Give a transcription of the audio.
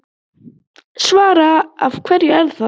Svavar: Af hverju er það?